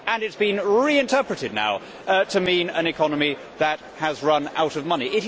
It has been reinterpreted to mean an economy that has run out of money.